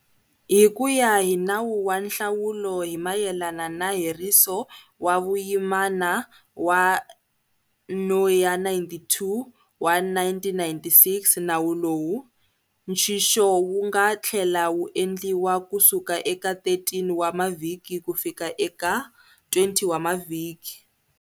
Hi ku ya hi Nawu wa Nhlawulo hi mayelana na Heriso wa Vuyimana wa No ya 92 wa 1996, Nawu lowu, nxixo wu nga tlhela wu endliwa kusuka eka 13 wa mavhiki kufika eka 20 wa mavhiki.